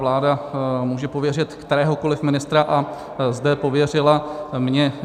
Vláda může pověřit kteréhokoli ministra a zde pověřila mne.